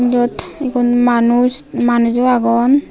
eyaot egun manus manujo agon.